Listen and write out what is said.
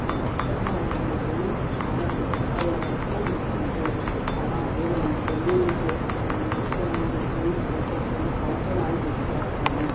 Function hall ఇది చాలా శుభకార్యాలకు మేటిఇల్లు అలాగే మనము పెళ్లిళ్లు చేసిన అన్నిటి ముందు ప్లేస్ సరిపోపుయన మనము ఫంక్షన్ హాల్ బుక్ చేస్తామ్.